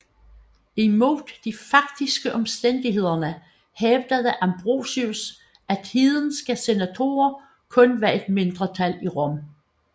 Imod de faktiske omstændigheder hævdede Ambrosius at hedenske senatorer kun var et mindretal i Rom